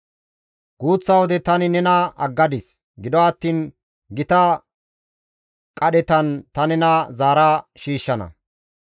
«Guuththa wode tani nena aggadis; gido attiin gita qadhetan ta nena zaara shiishshana.